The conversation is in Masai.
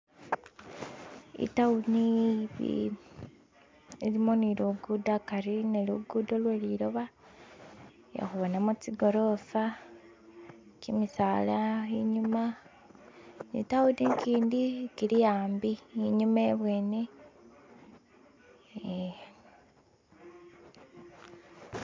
Itawuni ilimu ilimo ni lugudo hakhari ne lukhuro lweliloba khekhubonamo tsigorofa kimisaala inyuma ni tawuni ikindi ikilihambi inyuma ibwene hee